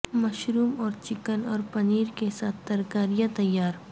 mushroom اور chicken اور پنیر کے ساتھ ترکاریاں تیار